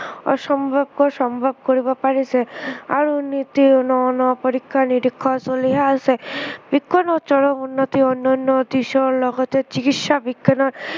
অসম্ভৱকো সম্ভৱ কৰিব পাৰিছে। আৰু নিতৌ ন ন পৰীক্ষা নিৰীক্ষা চলিয়ে আছে। বিজ্ঞানৰ চৰম উন্নতিৰ অন্য়ান্য় দিশৰ লগতে চিকিৎসা বিজ্ঞানৰ